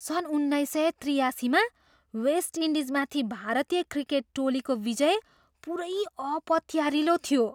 सन् उन्नाइस सय त्रियासीमा वेस्ट इन्डिजमाथि भारतीय क्रिकेट टोलीको विजय पुरै अपत्यारिलो थियो!